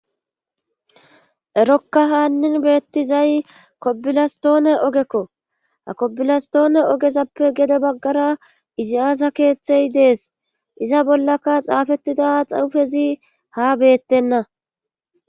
erokka haannin beettizay kobilastoone ogekko ha kobilastoone ogezappe gede baggara izi aaza keeththey dees iza bollaka xaafettida xaufezi ha beettenna